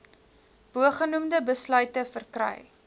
bogenoemde besluite verkry